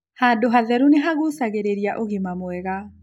Handũ hatheru nĩ hashũngagĩrĩrĩa ũgima mwega